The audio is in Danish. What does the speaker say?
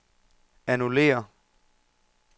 annullér